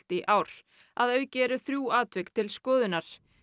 í ár að auki eru þrjú atvik til skoðunar